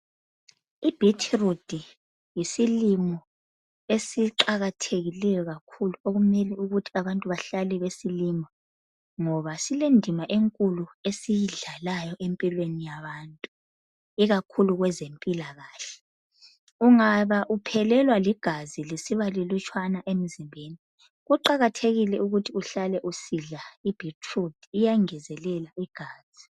I betrude yisilimo esiqakathekileyo kakhulu okumele ukuthi abantu bahlale besilima ngoba sile ndima enkulu esiyidlalayo empilweni yabantu ikakhulu kwenze mpilakahle ungaba uphelelwa ligazi lisiba lilutshwana emzimbeni kuqakathekile ukuthi uhlale usidla ibetrude iyangezelela igazi